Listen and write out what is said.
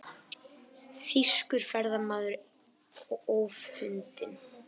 Þýskur ferðamaður ófundinn